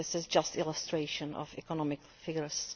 This is just an illustration of economic figures.